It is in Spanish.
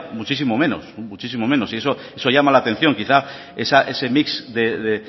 muchísimo menos muchísimo menos y eso llama la atención quizá ese mix de